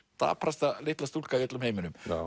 daprasta litla stúlka í öllum heiminum